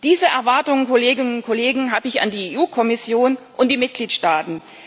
Diese Erwartung, Kolleginnen und Kollegen, habe ich an die EU-Kommission und die Mitgliedstaaten.